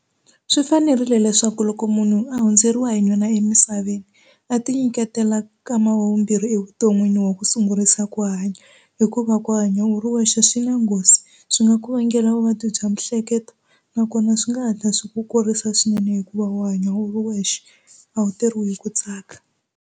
Swi fanerile leswaku loko munhu a hundzeriwa hi nuna emisaveni a ti nyiketela kama wa vumbirhi evuton'wini wa ku sungurisa ku hanya hikuva ku hanya u ri wexe swi na nghozi swi nga ku vangela vuvabyi bya mihleketo nakona swi nga hatla swi ku kurisa swinene hikuva u hanya u ri wexe a wu teriwi hi ku tsaka.